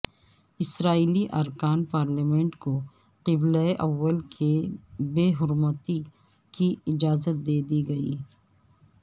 اسرائیلی ارکان پارلیمنٹ کو قبلہ اول کی بے حرمتی کی اجازت دے دی گئی